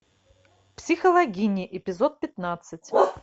психологини эпизод пятнадцать